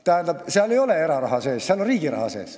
Tähendab, seal ei ole eraraha sees, seal on riigi raha.